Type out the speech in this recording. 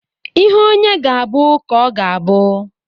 Ihe onye ga-abụ ka ọ ga-abụ.